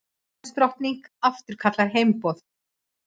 Englandsdrottning afturkallar heimboð